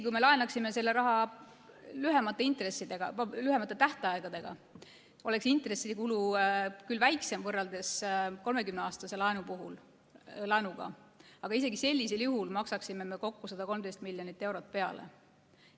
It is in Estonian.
Kui me laenaksime selle raha lühemate tähtaegadega, oleks intressikulu küll väiksem võrreldes 30-aastase laenuga, aga isegi sellisel juhul maksaksime me kokku 113 miljonit eurot peale.